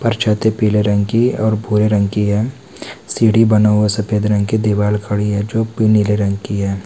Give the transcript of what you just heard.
पर छात पीले रंग की और भूये रंग की है सींड़ी बना हुआ सफेद रंग की दीवाल खड़ी है जो पी नीले रंग की है।